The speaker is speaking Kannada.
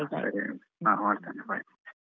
ಹ ಸರಿ ಹ ಹೊರಡ್ತೇನೆ bye.